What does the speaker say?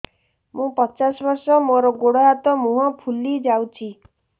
ମୁ ପଚାଶ ବର୍ଷ ମୋର ଗୋଡ ହାତ ମୁହଁ ଫୁଲି ଯାଉଛି